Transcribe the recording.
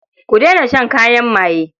Ku daina shan kayan maye.